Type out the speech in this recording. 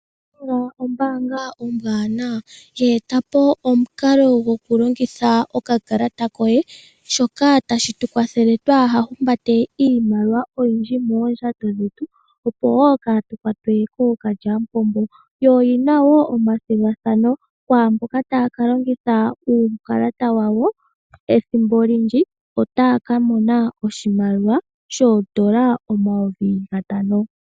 Nedbank ombaanga ombwaanawa. Ye eta po omukalo gokulongitha okakalata koye, shoka hashi tu kwathele twaaha humbate iimaliwa oyindji moondjato dhetu, oshowo kaatu kwatwe kookalyamupombo. Yo oyi na wo omathigathano kwaa mboka taya ka longitha uukalata wawo ethimbo olindji otaya ka mona oshimaliwa shoodola dhaNamibia omayovi gatano.